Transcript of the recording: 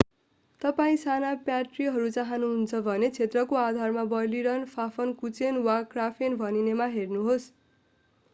तपाईं साना प्याट्रीहरू चाहानुहुन्छ भने क्षेत्रको आधारमा बर्लिनर फाफनकुचेन वा क्राफेन भनिनेमा हेर्नुहोस्‌।